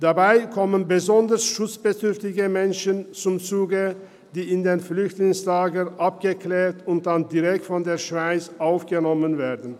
Dabei kommen besonders schutzbedürftige Menschen zum Zuge, die in den Flüchtlingslagern abgeklärt und dann direkt von der Schweiz aufgenommen werden.